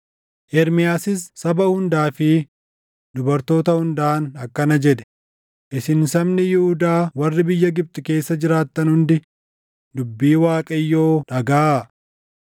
Ermiyaasis saba hundaa fi dubartoota hundaan akkana jedhe; “Isin sabni Yihuudaa warri biyya Gibxi keessa jiraattan hundi dubbii Waaqayyoo dhagaʼaa.